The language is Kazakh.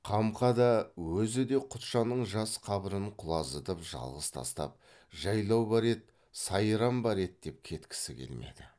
қамқа да өзі де құтжанның жас қабырын құлазытып жалғыз тастап жайлау бар еді сайран бар еді деп кеткісі келмеді